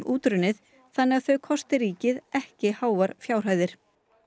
útrunnið þannig að þau kosti ríkið ekki háar fjárhæðir